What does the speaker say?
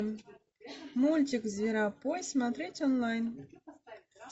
мультик зверопой смотреть онлайн